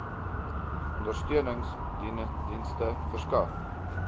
ondersteunings dienste verskaf